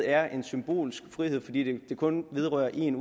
er en symbolsk frihed fordi det jo kun vedrører én